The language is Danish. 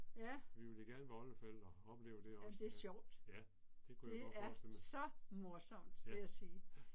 Ja. Jamen det er sjovt. Det er så morsomt vil jeg sige